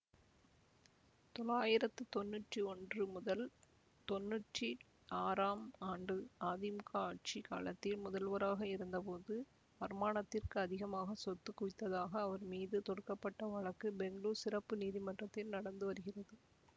தொளாயிரத்தி தொண்ணுற்றி ஒன்று முதல் தொண்ணுற்றி ஆறாம் ஆண்டு அதிமுக ஆட்சி காலத்தில் முதல்வராக இருந்தபோது வருமானத்திற்கு அதிகமாக சொத்து குவித்ததாக அவர் மீது தொடுக்க பட்ட வழக்கு பெங்களூர் சிறப்பு நீதிமன்றத்தில் நடந்து வருகிறது